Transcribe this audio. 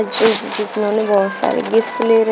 बहुत सारे गिफ्ट्स ले रहे--